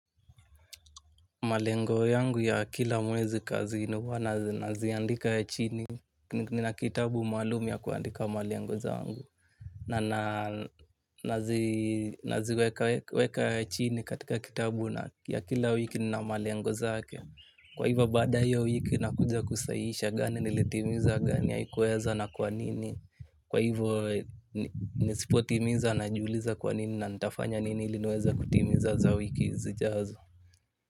Malengo yangu ya kila mwezi kazini huwa naziandika chini, nina kitabu maalum ya kuandika malengo zangu. Na naziweka chini katika kitabu ya kila wiki na malengo zake. Kwa hivyo baada ya hiyo wiki nakuja kusahihisha gani nilitimiza gani haikuweza na kwa nini. Kwa hivyo nisipotimiza najiuliza kwa nini na nitafanya nini ili niweze kutimiza za wiki zijazo.